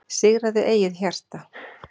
Sigraðu eigið hjarta,